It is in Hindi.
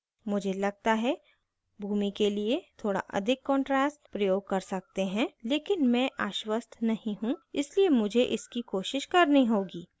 मुझे लगता है भूमि के लिए थोड़ा अधिक contrast प्रयोग कर सकते हैं लेकिन मैं आश्वस्त नहीं हूँ इसलिए मुझे इसकी कोशिश करनी होगी